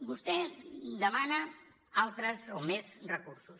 vostè demana altres o més recursos